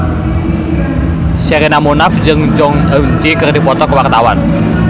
Sherina Munaf jeung Jong Eun Ji keur dipoto ku wartawan